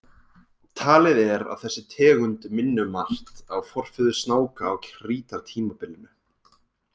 Talið er að þessi tegund minni um margt á forfeður snáka á krítartímabilinu.